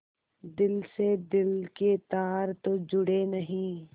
दिल से दिल के तार तो जुड़े नहीं